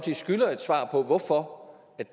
på hvorfor